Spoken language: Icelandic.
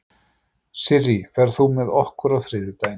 Sirrí, ferð þú með okkur á þriðjudaginn?